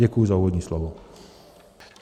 Děkuji za úvodní slovo.